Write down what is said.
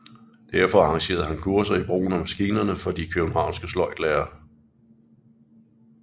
Derfor arrangerede han kurser i brugen af maskinerne for de københavnske sløjdlærere